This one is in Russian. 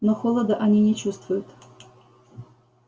но холода они не чувствуют